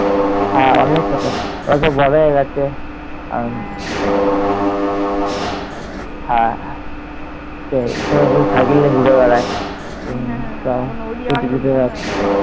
হ্যাঁ, অনেক ছোট কত বড় হয়ে গেছে। হ্যা সেই cycle নিয়ে ঘুরে বেড়ায়